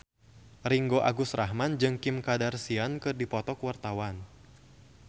Ringgo Agus Rahman jeung Kim Kardashian keur dipoto ku wartawan